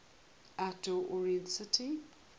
outdoor oriented city